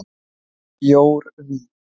Jórvík